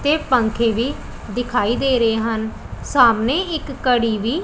ਇਹ ਪੰਖੇ ਵੀ ਦਿਖਾਈ ਦੇ ਰਹੇ ਹਨ ਸਾਹਮਣੇ ਇੱਕ ਘੜੀ ਵੀ--